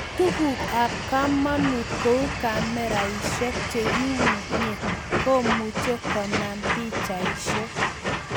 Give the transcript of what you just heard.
Tukuk ab kamanut kou kameraishek chekiunye komuchi konam pikchaishek